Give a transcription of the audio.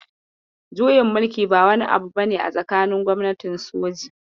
Juyin mulki ba wani abu bane a tsakanin gwamnatin soji.